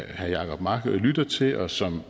herre jacob mark lytter til og som